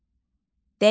Dəyanət.